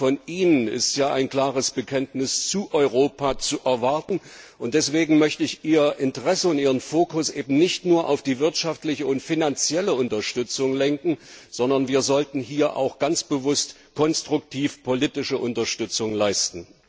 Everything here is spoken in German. Denn gerade von Ihnen ist ja ein klares Bekenntnis zu Europa zu erwarten, und deswegen möchte ich Ihr Interesse, Ihren Fokus eben nicht nur auf die wirtschaftliche und finanzielle Unterstützung lenken, sondern wir sollten ganz bewusst und konstruktiv politische Unterstützung leisten.